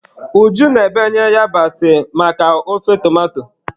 Uju na-ebe yabasị maka ofe tomato.